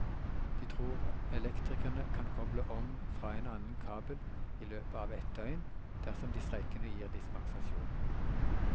De tror elektrikerne kan koble om fra en annen kabel i løpet av et døgn dersom de streikende gir dispensasjon.